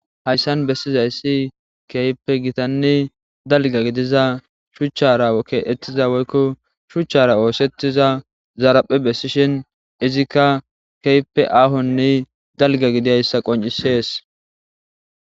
hayssan bessizayssi keype gitanne dalga gidiza shuchchara keettiza woykko shuchchara oosettiza zaraphe bessishin izikka keype aahonne dalga gidiayssa qoncisees